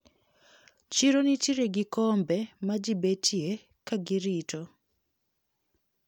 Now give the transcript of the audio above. Chiro nitiere gi kombe majibetie kagirito.